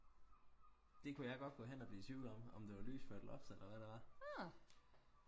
det kunne jeg godt gå hen og blive i tvivl om om det var lys eller loft eller hvad det var